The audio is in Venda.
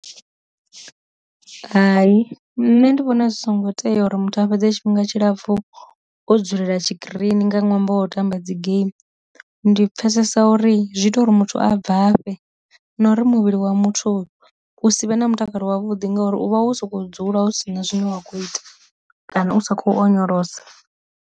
Hai nṋe ndi vhona zwi songo tea uri muthu a fhedze tshifhinga tshilapfu o dzulela tshikirini nga ṅwambo o tamba dzi game, ndi pfesesa uri zwi ita uri muthu a bvafhe na uri muvhili wa muthu hu si vhe na mutakalo wavhuḓi ngauri u vha wo sokou dzula hu sina zwine wa kho ita kana u sa kho onyolosa.